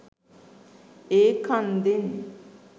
ඒ කන්දෙන්